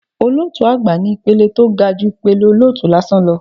Olótùú àgbà ni ìpele tó ga ju ìpele olótùú lásán lọ